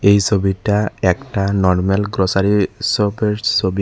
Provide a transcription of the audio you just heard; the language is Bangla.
এই সবিটা একটা নরমাল গ্রসারি শপের সবি।